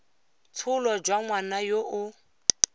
tsholo jwa ngwana yo o